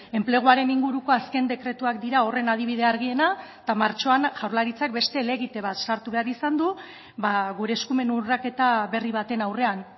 enpleguaren inguruko azken dekretuak dira horren adibide argiena eta martxoan jaurlaritzak beste helegite bat sartu behar izan du gure eskumen urraketa berri baten aurrean